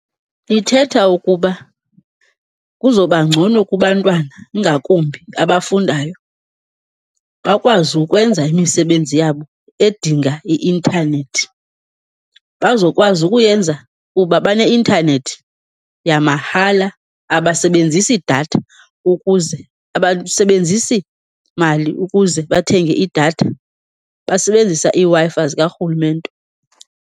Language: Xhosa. Ithetha ukuba kuzoba ngcono kubantwana, ingakumbi abafundayo, bakwazi ukwenza imisebenzi yabo edinga i-intanethi. Bazokwazi ukuyenza kuba baneintanethi yamahala, abasebenzisi datha ukuze, abasebenzisi mali ukuze bathenge idatha, basebenzisa iiWi-Fi zikarhulumente.